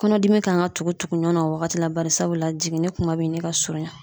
Kɔnɔdimi kan ka tugu tugu ɲɔgɔn na o wagati la bari sabula jiginni kuma bɛ ɲini ka surunya